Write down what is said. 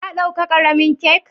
Ka dauka karemin kak?